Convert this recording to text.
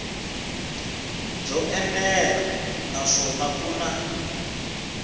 byo enela naswona ku na